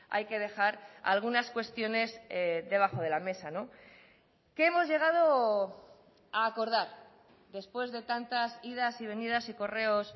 hay que dejar algunas cuestiones debajo de la mesa qué hemos llegado a acordar después de tantas idas y venidas y correos